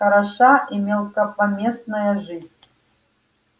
хороша и мелкопомествая жизнь